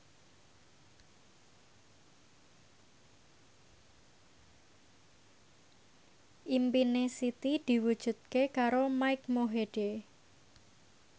impine Siti diwujudke karo Mike Mohede